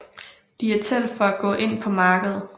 Diatel for at gå ind på markedet